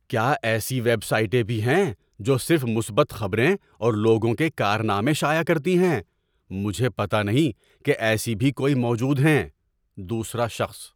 کیا ایسی ویب سائٹیں بھی ہیں جو صرف مثبت خبریں اور لوگوں کے کارنامے شائع کرتی ہیں؟ مجھے پتہ نہیں کہ ایسی بھی کوئی موجود ہیں۔ (دوسرا شخص)